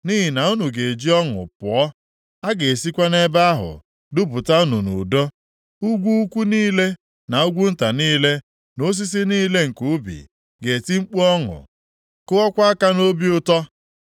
Nʼihi na unu ga-eji ọṅụ pụọ, a ga-esikwa nʼebe ahụ dupụta unu nʼudo. Ugwu ukwu niile, na ugwu nta niile na osisi niile nke ubi, ga-eti mkpu ọṅụ, kụọkwa aka nʼobi ụtọ.